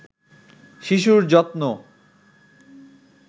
শিশুর যত্ন